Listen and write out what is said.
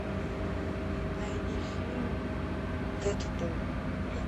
найди фильм дэдпул